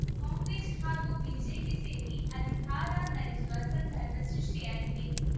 ಕಾಂಗ್ರೆಸ್‌ ಹಾಗೂ ಬಿಜೆಪಿ ಸೇರಿ ಅಧಿಕಾರ ನಡೆಸುವ ಸಂದರ್ಭ ಸೃಷ್ಟಿಯಾಗಿದೆ